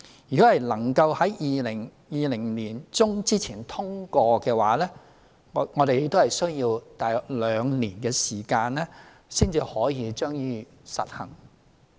如法案能在2020年年中前通過，我們需要約兩年時間才可實行。